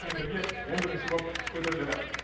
мінберге он бірінші боп көтеріледі